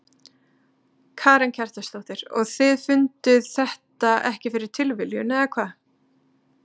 Karen Kjartansdóttir: Og þið funduð þetta ekki fyrir tilviljun eða hvað?